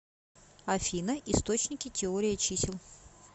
афина источники теория чисел